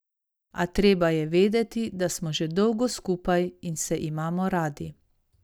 A treba je vedeti, da smo že dolgo skupaj in se imamo radi.